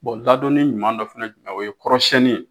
Bɔn ladɔnni ɲuman dɔ fɛnɛ ye jumɛn ye o ye kɔrɔsannin ye